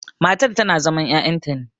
matar tana zaman ya'yanta ne